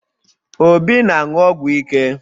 Obi na-aṅụ ọgwụ ike